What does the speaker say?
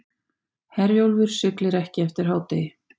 Herjólfur siglir ekki eftir hádegi